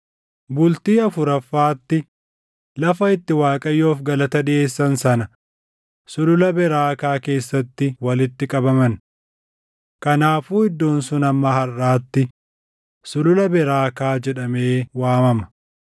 Bultii afuraffaatti lafa itti Waaqayyoof galata dhiʼeessan sana Sulula Beraakaa keessatti walitti qabaman. Kanaafuu iddoon suni hamma harʼaatti Sulula Beraakaa jedhamee waamama.